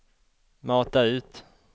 mata ut